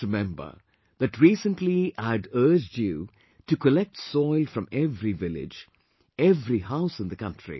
You might remember that recently I had urged you to collect soil from every village, every house in the country